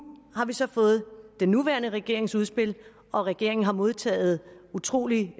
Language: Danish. har vi så fået den nuværende regerings udspil og regeringen har modtaget utrolig